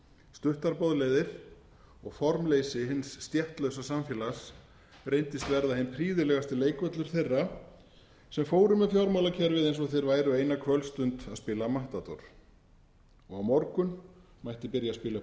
stuttar boðleiðir og formleysi hins stéttlausa samfélag reyndist verða hinn prýðilegasti leikvöllur þeirra sem fóru með fjármálakerfið eins og þeir væru eina kvöldstund að spila matador og a morgun mætti byrja að spila